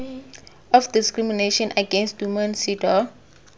of discrimination against women cedaw